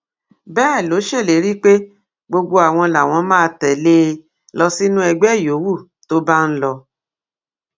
bẹẹ ló ṣèlérí pé gbogbo àwọn làwọn máa tẹlé e lọ sínú ẹgbẹ yòówù tó bá ń lọ